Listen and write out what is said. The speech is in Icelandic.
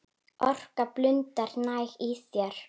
Orka blundar næg í þér.